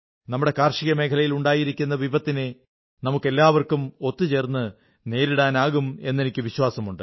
നമ്മുടെ കൃഷിമേഖലയിൽ ഉണ്ടായിരിക്കുന്ന വിപത്തിനെ നമുക്കെല്ലാവർക്കും ഒത്തു ചേർന്ന് നേരിടാനാകും എന്നെനിക്കു വിശ്വാസമുണ്ട്